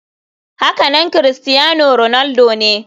Hakanan crustiano ronaldo ne.